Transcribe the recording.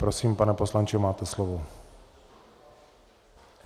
Prosím, pane poslanče, máte slovo.